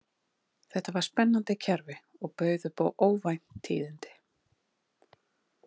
Þetta var spennandi kerfi og bauð upp á óvænt tíðindi.